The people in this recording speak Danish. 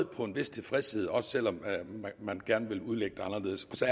på en vis tilfredshed også selv om man gerne vil udlægge det anderledes så